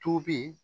Tobi